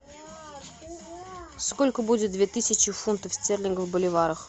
сколько будет две тысячи фунтов стерлингов в боливарах